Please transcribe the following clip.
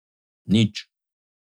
Nič.